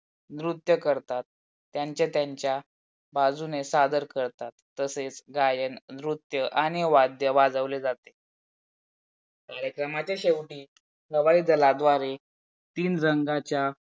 नृत्य करतात त्यांच्या त्यांच्या बाजूने सादर करतात. तसेच गायन, नृत्य आणि वादये वाजवले जाते याच्यामध्ये शेवटी हवायी दलाद्वारे तिन रंगाच्या